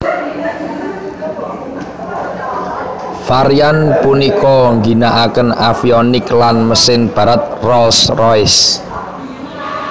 Varian punika ngginaaken avionik lan mesin Barat Rolls Royce